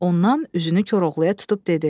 Ondan üzünü Koroğluya tutub dedi: